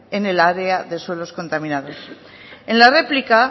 en el área de suelos contaminados en la réplica